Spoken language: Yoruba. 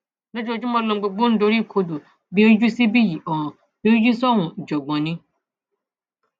lójoojúmọ lohun gbogbo ń doríkodò bí ó yíjú síbí yìí ọràn bí ó yíjú sọhùnún ìjàngbọn ni